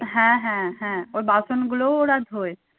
হ্যাঁ হ্যাঁ হ্যাঁ ও বাসন গুলো ওরা ধোয়।